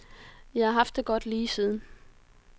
Jeg har haft det godt lige siden.